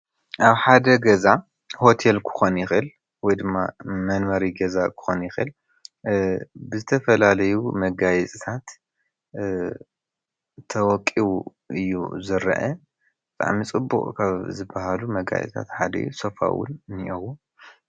ኣብ ሓደ ገዛ ሆቴል ክኾን ይኽእል ወይ ድማ መንበሪ ገዛ ክኾን ይኽእል ብዝተፈላለዩ መጋየፅታት ተወቂቡ እዩ ዝርአ፡፡ ብጣዕሚ ፅቡቕ መጋየፅታት ካብ ዝበሃሉ ሓዲኡውን ሶፋ እውን እኔአዉ፡፡